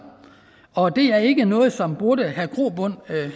og det er ikke noget som burde have grobund